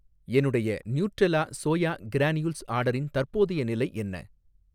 என்னுடைய Nutrela soya granules ஆர்டரின் தற்போதைய நிலை என்ன?